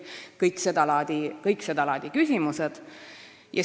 Nii et tekivad seda laadi küsimused.